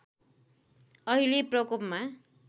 अहिले प्रकोपमा